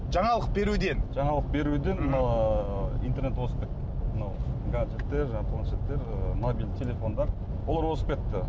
жаңалық беруден жаңалық беруден интернет озып кетті мынау гаджеттер жаңағы планшеттер мобильді телефондар олар озып кетті